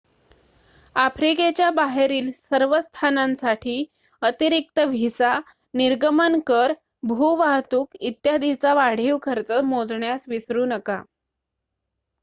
आफ्रिकेच्या बाहेरील सर्व स्थानांसाठी अतिरिक्त व्हिसा निर्गमन कर भू वाहतूक इत्यादीचा वाढीव खर्च मोजण्यास विसरू नका